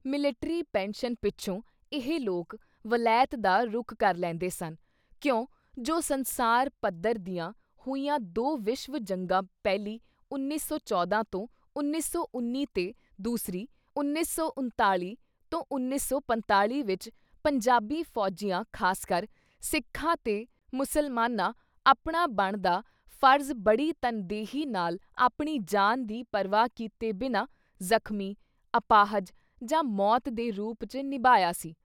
Military pension ਪਿੱਛੋਂ ਇਹ ਲੋਕ ਵਲੈਤ ਦਾ ਰੁਖ ਕਰ ਲੈਂਦੇ ਸਨ ਕਿਉਂ ਜੋ ਸੰਸਾਰ ਪੱਧਰ ਦੀਆਂ ਹੋਈਆਂ ਦੋ ਵਿਸ਼ਵ ਜੰਗਾਂ-ਪਹਿਲੀ 1914 ਤੋਂ 1919 ਤੇ ਦੂਸਰੀ 1939-1945 ਵਿੱਚ ਪੰਜਾਬੀ ਫੌਜੀਆਂ ਖਾਸਕਰ ਸਿੱਖਾਂ ਤੇ ਮੁਸਲਮਾਨਾਂ ਆਪਣਾ ਬਣਦਾ ਫ਼ਰਜ਼ ਬੜੀ ਤਨਦੇਹੀ ਨਾਲ ਆਪਣੀ ਜਾਨ ਦੀ ਪਰਵਾਹ ਕੀਤੇ ਬਿਨਾਂ, ਜ਼ਖ਼ਮੀ, ਅਪਾਹਜ ਜਾਂ ਮੌਤ ਦੇ ਰੂੁਪ ‘ਚ ਨਿਭਾਇਆ ਸੀ।